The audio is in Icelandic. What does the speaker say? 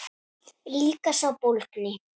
Líka sá bólgni.